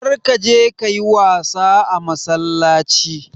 Kar ka je ka yi wasa a massalaci.